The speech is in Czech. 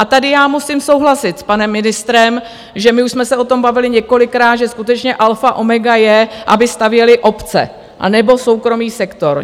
A tady já musím souhlasit s panem ministrem, že my už jsme se o tom bavili několikrát, že skutečně alfa a omega je, aby stavěly obce anebo soukromý sektor.